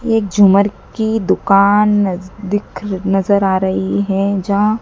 एक झूमर की दुकान न दिख नजर आ रही है जहां--